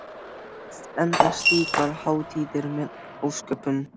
Oft enda slíkar hátíðir með ósköpum.